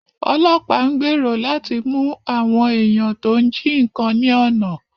Ọlọ́pàá ń gbèrò láti mú àwọn èèyàn tọ́ ń jí nǹkan ní ọ̀nà